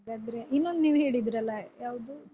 ಹಾಗಾದ್ರೆ ಇನ್ನೊಂದ್ ನೀವು ಹೇಳಿದ್ರಲ್ಲ ಯಾವ್ದು?